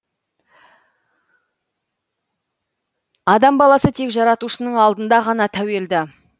адам баласы тек жаратушының алдында ғана тәуелді